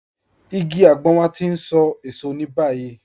Ìgí àgbọn wà tí ń sọ èṣọ̀ ni báyìí.